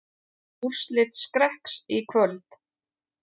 Úrslit Skrekks í kvöld